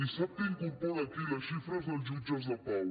i sap què incorpora aquí les xi·fres dels jutges de pau